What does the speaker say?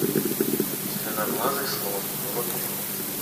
зеленоглазый слон вруби